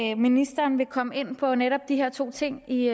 at ministeren vil komme ind på netop de her to ting i